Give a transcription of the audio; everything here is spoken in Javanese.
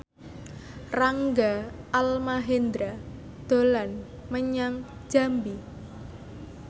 Rangga Almahendra dolan menyang Jambi